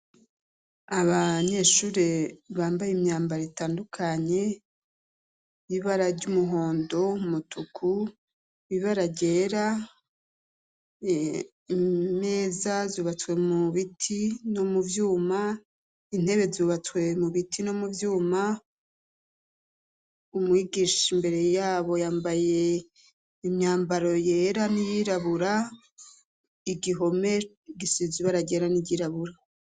Abanyeshure bambaye imyambaro itandukanye y'ibara ry'umuhondo, umutuku, ibara ryera, imeza zubatswe mu biti no mu vyuma, intebe zubatswe mu biti no mu vyuma, umwigisha imbere yabo yambaye imyambaro yera n'iyirabura, igihome gisize ibara ryera n'iryirabura.